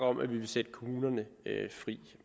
om at vi vil sætte kommunerne fri